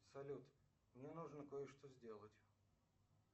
салют мне нужно кое что сделать